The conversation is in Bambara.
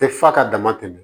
Tɛ f'a ka dama tɛmɛ